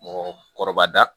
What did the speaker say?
Mɔgɔkɔrɔba